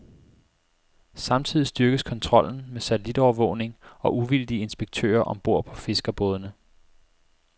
Samtidig styrkes kontrollen med satellitovervågning og uvildige inspektører om bord på fiskerbådene.